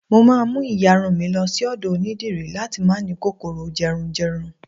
mo ma mu iyarun mi lo sí ọdọ onidiri lati ma ni kòkòrò jerunjerun